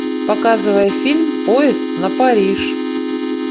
показывай фильм поезд на париж